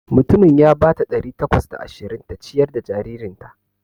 Mutumin ya bata ɗari takwas da ashirin ta ciyar da jaririnta.